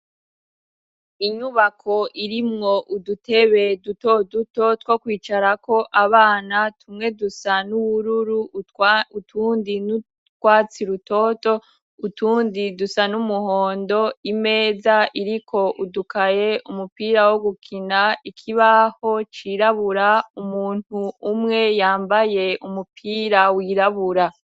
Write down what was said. Inyubako irimwo udutebe duto duto two kwicarako abana tumwe dusa n'ubururu utundi n'utwatsi rutoto utundi dusa n'umuhondo imeza iriko udukaye umupira wo gukina ikibaho cirabura umuntu umwe yambaye umupira wirabura.